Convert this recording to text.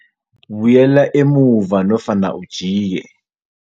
Buyela emuva nofana ujike.